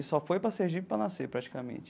Ele só foi para Sergipe para nascer, praticamente.